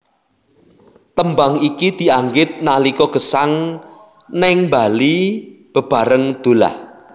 Tembang iki dianggit nalika Gesang néng Bali bebareng Dullah